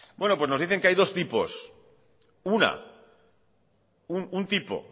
bueno pues nos dicen que hay dos tipos una un tipo